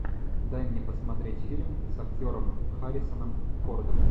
дай мне посмотреть фильм с актером харрисоном фордом